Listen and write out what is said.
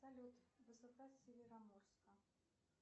салют высота североморска